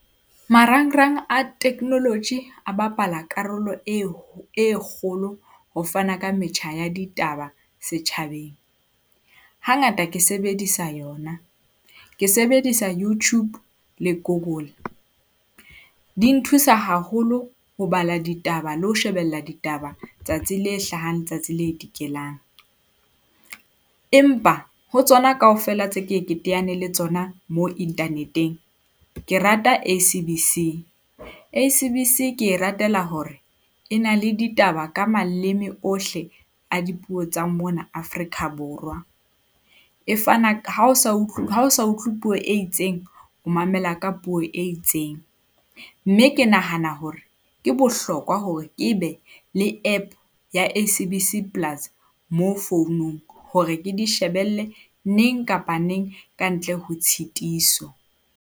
Marangrang a technology a bapala karolo e ho e kgolo ho fana ka metjha ya ditaba setjhabeng. Hangata ke sebedisa yona, ke sebedisa Youtube le Google. Di nthusa haholo ho bala ditaba le ho shebella ditaba tsatsi le hlahang, le tsatsi le dikelang, empa ho tsona kaofela tse ke ye ke teane le tsona mo internet-eng, ke rata S_A_B_C. S_A_B_C ke e ratela hore e na le ditaba ka maleme ohle a dipuo tsa mona Afrika Borwa, e fana ha o sa utlwe puo e itseng o mamela ka puo e itseng. Mme ke nahana hore ke bohlokwa hore ke be le App ya S_A_B_C Plus mo founung hore ke di shebelle neng kapa neng ka ntle ho tshitiso.